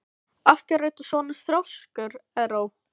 Af hverju ertu svona þrjóskur, Erró?